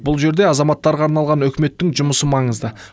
бұл жерде азаматтарға арналған үкіметтің жұмысы маңызды